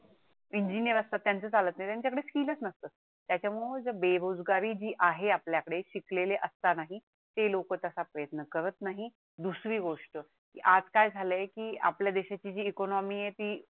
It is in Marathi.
त्याच्या मूळे बेरोजगारी जी आहे आपल्याकडे शिकलेले असतानाही ते लोक तसा प्रयत्न करत नाही दुसरी गोष्ट की आज काय झाले की आपल्या देशाची जी ECONOMY आहे ती